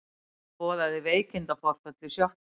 Hún boðaði veikindaforföll í sjoppunni.